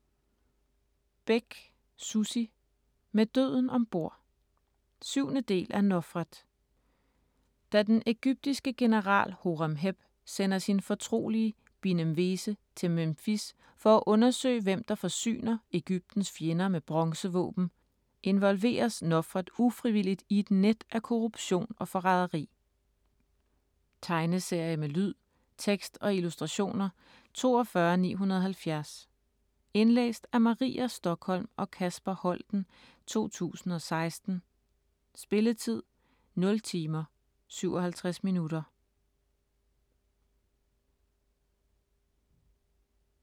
Bech, Sussi: Med døden om bord 7. del af Nofret. Da den ægyptiske general Horemheb sender sin fortrolige Binemwese til Memfis for at undersøge, hvem der forsyner Egyptens fjender med bronzevåben, involveres Nofret ufrivilligt i et net af korruption og forræderi. Tegneserie med lyd, tekst og illustrationer 42970 Indlæst af Maria Stokholm og Kasper Holten, 2016. Spilletid: 0 timer, 57 minutter.